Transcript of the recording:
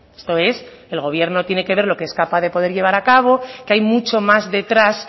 esto es el gobierno tiene que ver lo que es capaz de poder llevar a cabo que hay mucho más detrás